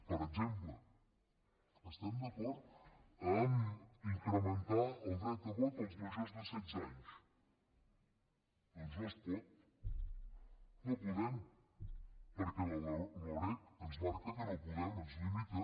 per exemple estem d’acord a incrementar el dret a vot als majors de setze anys doncs no es pot no podem perquè la loreg ens marca que no podem ens limita